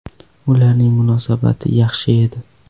Ularning munosabati yaxshi edi.